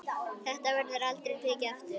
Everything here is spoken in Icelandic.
Þetta verður aldrei tekið aftur.